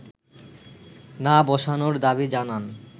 না বসানোর দাবি জানান